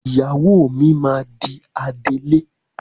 Ìyàwó mi máa di adelé.